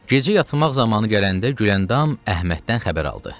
Gecə yatmaq zamanı gələndə Güləndam Əhməddən xəbər aldı.